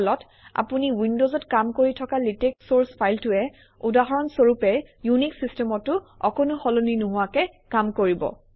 ফলত আপুনি উইনডজত কাম কৰি থকা লেটেক্স চৰ্চ ফাইলটোৱে উদাহৰণস্বৰূপে ইউনিক্স চিষ্টেমতো অকণো সলনি নোহোৱাকে কাম কৰিব